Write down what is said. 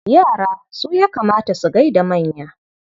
Yara su ya kamata su gai da manya.